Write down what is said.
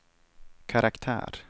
karaktär